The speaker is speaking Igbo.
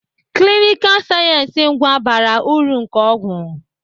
Klinikal sayensị ngwa bara uru nke ọgwụ.